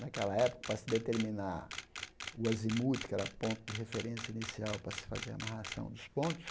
Naquela época, para se determinar o azimute, que era ponto de referência inicial para se fazer a amarração dos pontos,